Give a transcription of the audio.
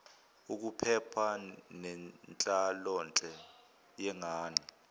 ukuphepha nenhlalonhle yengane